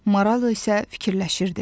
Maral isə fikirləşirdi.